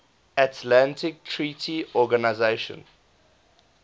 atlantic treaty organisation